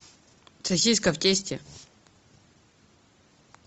сосиска в тесте